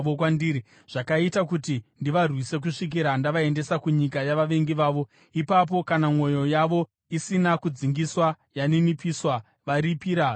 zvakaita kuti ndivarwise kusvikira ndavaendesa kunyika yavavengi vavo, ipapo kana mwoyo yavo isina kudzingiswa yaninipiswa, varipira zvivi zvavo,